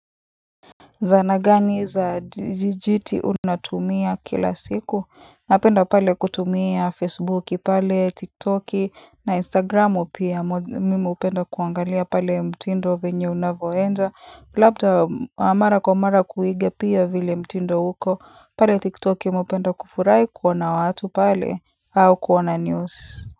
Zana gani za jijiti unatumia kila siku napenda pale kutumia facebooki pale tiktoki na instagramu pia mimi hupenda kuangalia pale mtindo venye unavyoenda labda mara kwa mara kuiga pia vile mtindo uko pale tiktoki mimi hpenda kufurai kuona watu pale au kuona news.